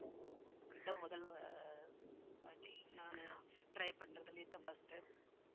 நானு try பண்றதுல இதுதான் first time